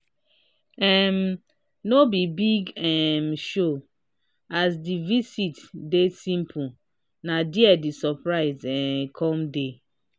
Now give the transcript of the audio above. um no be big um showas the visit dey simple na dia the surprise um come dey.